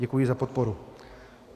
Děkuji za podporu.